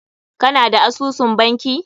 Ka na da asusun banki?